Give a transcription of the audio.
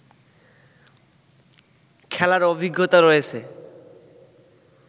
খেলার অভিজ্ঞতা রয়েছে